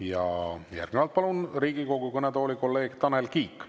Ja järgnevalt palun Riigikogu kõnetooli kolleeg Tanel Kiige.